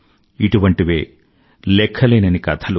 ఇటువంటివే లఖ్ఖలేనన్ని కథలు